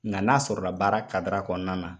Nkan' a sɔrɔ la baara kadira kɔnɔna na